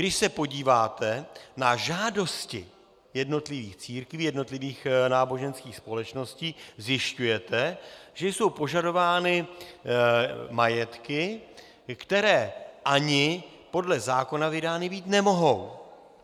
Když se podíváte na žádosti jednotlivých církví, jednotlivých náboženských společností, zjišťujete, že jsou požadovány majetky, které ani podle zákona vydány být nemohou.